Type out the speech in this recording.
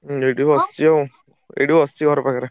ଏଇଠି ବସଚି ଆଉ ଏଇଠି ବସଚି ଘର ପାଖରେ।